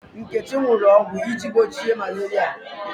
Nkechi ṅụrụ ọgwụ iji gbochie malaria.